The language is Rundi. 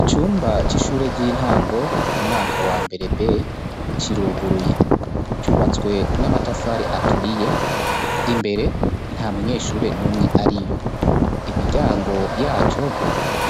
Icumba c'ishure ry'intango umwaka wa mbere b kiruguruye cubatswe n'amatafari aturiye imbere nta munyeshure n'umwe ari yo imiryango yaco